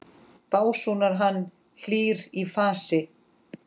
básúnar hann, hlýr í fasi.